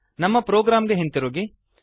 ನಮ್ಮ ಪ್ರೊಗ್ರಾಮ್ ಗೆ ಹಿಂತಿರುಗಿ